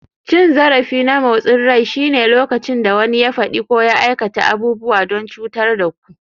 Cin zarafi na motsin rai shine lokacin da wani ya faɗi ko ya aikata abubuwa don cutar da ku.